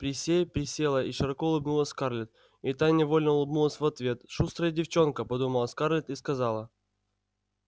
присей присела и широко улыбнулась скарлетт и та невольно улыбнулась в ответ шустрая девчонка подумала скарлетт и сказала